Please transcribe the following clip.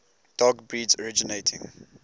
dog breeds originating